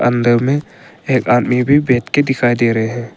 अंदर में एक आदमी भी बैठ के दिखाई दे रहे हैं।